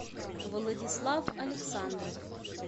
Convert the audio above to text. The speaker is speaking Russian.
владислав александров